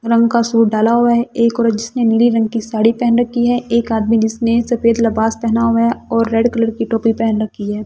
रंग का सूट डाला हुआ है एक और जिसने नीली रंग की साड़ी पहन रखी है एक आदमी जिसने सफेद लिवाज पहना हुआ है और रेड कलर की टोपी पहन रखी है।